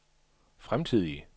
fremtidige